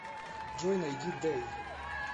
джой найди дей